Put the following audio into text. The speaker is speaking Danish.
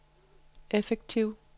effektiv